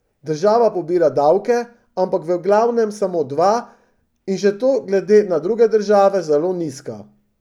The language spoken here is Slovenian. Država pobira davke, ampak v glavnem samo dva, in še to glede na druge države zelo nizka.